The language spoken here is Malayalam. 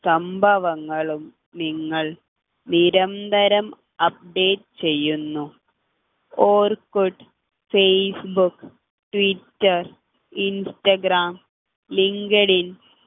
സംഭവങ്ങളും നിങ്ങൾ നിരന്തരം update ചെയ്യുന്നു Orkut Facebook Twitter Instagram LinkedIn സംഭവങ്ങളും